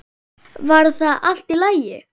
Var það allt í lagi?